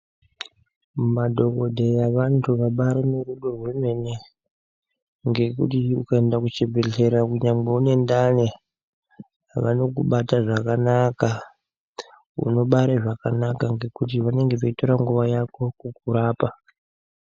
Ma dhokoteya vantu vabairi ne rudo rwemene nekuti uka enda ku chi bhedhlera kunyangwe une ndani vanoku bata zvakanaka uno bare zvakanaka ngekuti vanenge veitora nguva yako kukurapa.